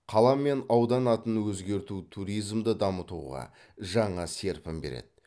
қала мен аудан атын өзгерту туризмді дамытуға жаңа серпін береді